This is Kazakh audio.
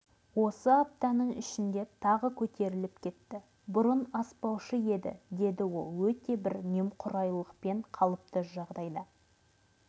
осы аптаның ішінде тағы көтеріліп кетті бұрын аспаушы еді деді ол өте бір немқұрайлықпен қалыпты жағдайда